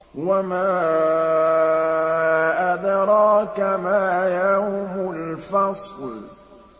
وَمَا أَدْرَاكَ مَا يَوْمُ الْفَصْلِ